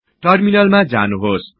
टर्मिनालमा जानुहोस्